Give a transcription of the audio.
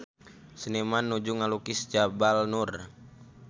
Seniman nuju ngalukis Jabal Nur